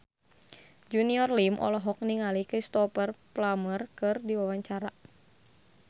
Junior Liem olohok ningali Cristhoper Plumer keur diwawancara